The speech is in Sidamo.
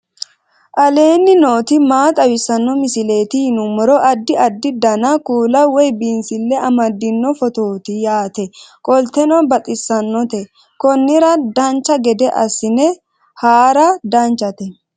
aleenni nooti maa xawisanno misileeti yinummoro addi addi dananna kuula woy biinsille amaddino footooti yaate qoltenno baxissannote konnira dancha gede assine haara danchate